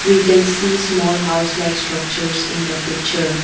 we can see small house like structure in the picture.